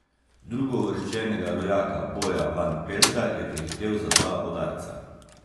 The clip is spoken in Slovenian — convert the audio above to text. Drugouvrščenega rojaka Boja Van Pelta je prehitel za dva udarca.